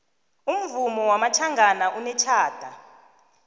umvumo wamatjhangana unetjhada